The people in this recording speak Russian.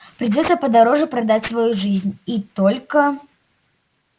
придётся подороже продать свою жизнь и только